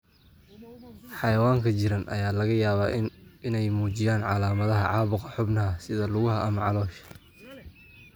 Xayawaanka jirran ayaa laga yaabaa inay muujiyaan calaamadaha caabuqa xubnaha sida lugaha ama caloosha.